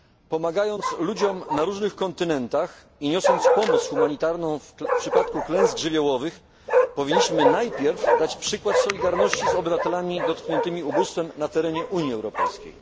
Pomagając ludziom na różnych kontynentach i niosąc pomoc humanitarną w przypadku klęsk żywiołowych powinniśmy najpierw dać przykład solidarności z obywatelami dotkniętymi ubóstwem na terenie Unii Europejskiej.